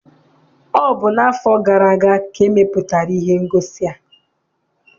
Ọ bụ n'afọ gara aga ka e mepụtara ihe ngosi a.